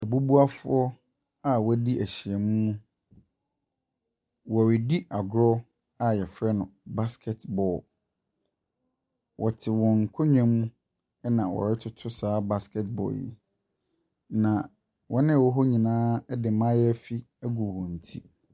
Abubuafoɔ a wɔadi ahyia mu. Wɔredi agorɔ a wɔfrɛ no basket ball. Wɔte wɔn nkonnwa mu ɛna wɔretoto saa basket ball yi, na wɔn a wɔwɔ hɔ nyinaa de mayaafi agu wɔn ti.